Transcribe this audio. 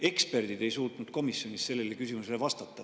Eksperdid ei suutnud komisjonis sellele küsimusele vastata.